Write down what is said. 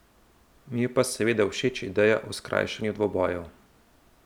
Mi je pa seveda všeč ideja o skrajšanju dvobojev.